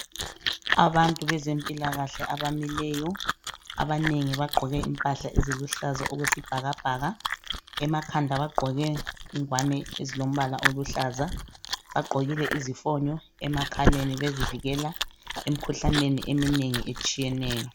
Abantu bezempilakahle abamileyo abanengi bagqoke impahla eziluhlaza okwesibhakabhaka. Emakhanda bagqoke ingwane ezilombala oluhlaza. Bagqokile izifonyo emakhaleni bezivikela emikhuhlaneni eminengi etshiyeneyo.